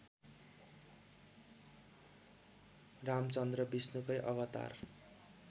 रामचन्द्र विष्णुकै अवतार